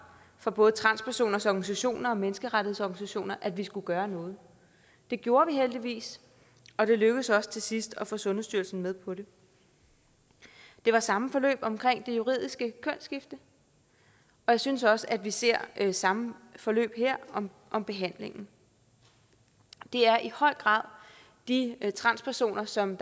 fra både transpersoners organisationer og menneskerettighedsorganisationer at vi skulle gøre noget det gjorde vi heldigvis og det lykkedes os til sidst at få sundhedsstyrelsen med på det det var samme forløb omkring det juridiske kønsskifte jeg synes også at vi ser samme forløb her om om behandlingen det er i høj grad de transpersoner som